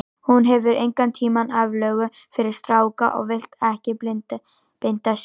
Hún hefur engan tíma aflögu fyrir stráka og vill ekki binda sig.